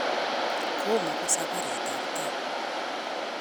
Komo ko sabarit ab tai